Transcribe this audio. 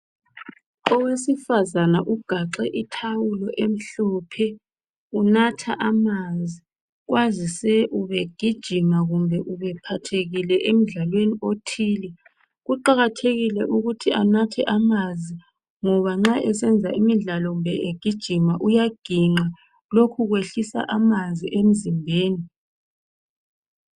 Owesifazana ugaxe ithawulo emhlophe unatha amanzi, kwazise ubegijima kumbe ubephathekile emdlalweni othile. Kuqakathekile ukuthi anathe amanzi ngoba nxa esenza imidlalo kumbe egijima uyaginqa lokhu kwehlisa amanzi emzimbeni.